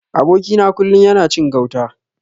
Aboki na kullun yana cin gauta.